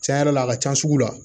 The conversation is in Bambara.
Cɛn yɛrɛ la a ka ca sugu la